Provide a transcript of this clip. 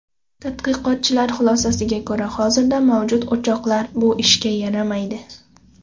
Tadqiqotchilar xulosasiga ko‘ra, hozirda mavjud uchoqlar bu ishga yaramaydi.